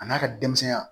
A n'a ka denmisɛnya